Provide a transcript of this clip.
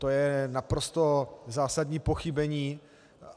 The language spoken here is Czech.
To je naprosto zásadní pochybení.